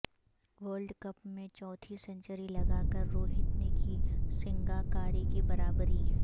world cup میں چوتھی century لگا کر روہت نے کی سنگاکارا کی برابری